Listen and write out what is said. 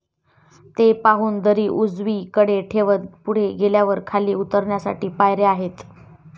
ते पाहून दरी उजवी कडे ठेवत पुढे गेल्यावर खाली उतरण्यासाठी पायऱ्या आहेत